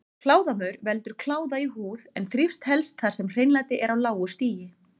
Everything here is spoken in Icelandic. Kláðamaur veldur kláða í húð en þrífst helst þar sem hreinlæti er á lágu stigi.